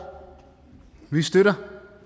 vi støtter